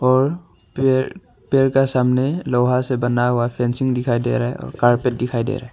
और पेड़ पेड़ का सामने लोहा से बना हुआ फेंसिंग दिखाई दे रहा है और कारपेट दिखाई दे रहा है।